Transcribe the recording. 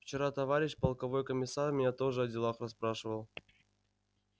вчера товарищ полковой комиссар меня тоже о делах расспрашивал